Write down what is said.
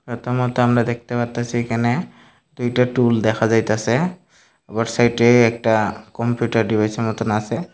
ছবিতার মধ্যে আমরা দেখতে পারতাসি এখানে দুইটা টুল দেখা যাইতাসে ওর সাইডে একটা কম্পিউটার ডিভাইসের মতন আসে।